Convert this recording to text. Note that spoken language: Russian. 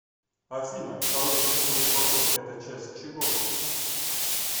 афина второй крестовый поход это часть чего